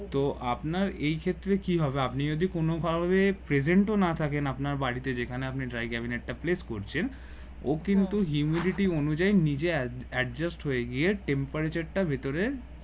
তো আপনার এই ক্ষেত্রে কি হবে আপনি যদি কোন কারণে present ও না থাকেন আপনার বাড়িতে যেখানে আপনি dry cabinet টা place করছেন ও কিন্তু humidity ও অনুযায়ী নিজে adjust হয়ে গিয়ে temperature টার ভিতরে